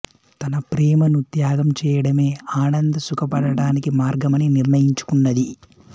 తన ప్రేమను త్యాగం చేయడమే ఆనంద్ సుఖపడటానికి మార్గమని నిర్ణియించుకున్నది